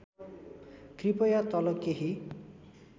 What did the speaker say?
कृपया तल केही